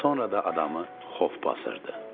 Sonra da adamı xof basırdı.